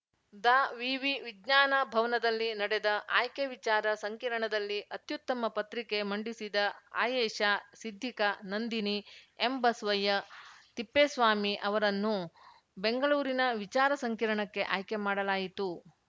ದಾವಿವಿ ವಿಜ್ಞಾನ ಭವನದಲ್ಲಿ ನಡೆದ ಆಯ್ಕೆ ವಿಚಾರ ಸಂಕಿರಣದಲ್ಲಿ ಅತ್ಯುತ್ತಮ ಪತ್ರಿಕೆ ಮಂಡಿಸಿದ ಆಯೇಷಾ ಸಿದ್ಧಿಕಾ ನಂದಿನಿ ಎಂಬಸ್ವಯ್ಯ ತಿಪ್ಪೇಸ್ವಾಮಿ ಅವರನ್ನು ಬೆಂಗಳೂರಿನ ವಿಚಾರ ಸಂಕಿರ್ಣಕ್ಕೆ ಆಯ್ಕೆ ಮಾಡಲಾಯಿತು